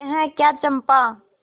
यह क्या चंपा